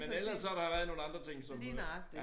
Men ellers så der været nogle andre ting som du